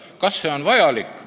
Kas see on vajalik?